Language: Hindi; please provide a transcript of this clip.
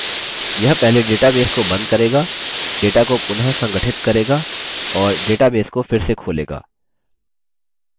यह पहले database को बंद करेगा data को पुनःसंगठित करेगा और database को फिर से खोलेगा